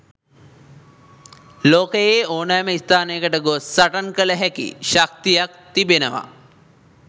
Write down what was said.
ලෝකයේ ඕනෑම ස්ථානයකට ගොස් සටන් කළ හැකි ශක්තියක් තිබෙනවා.